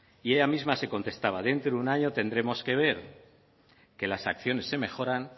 y ella misma se contestaba dentro de un año tendremos que ver que las acciones se mejoran